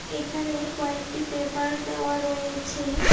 এইখানে কয়েকটি পেপার দেওয়া রয়েছে।